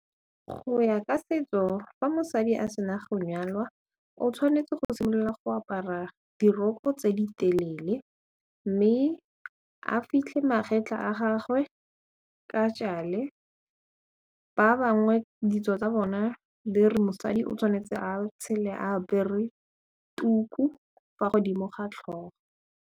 Go ya ka setso fa mosadi a se na go nyalwa o tshwanetse go simolola go apara diroko tse di telele mme a fitlhe magetla a gagwe ke ka tšale ba bangwe ditso tsa bona di re mosadi o tshwanetse a tshele a apere tuku fa godimo ga tlhogo.